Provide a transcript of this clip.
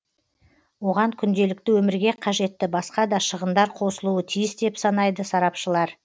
оған күнделікті өмірге қажетті басқа да шығындар қосылуы тиіс деп санайды сарапшылар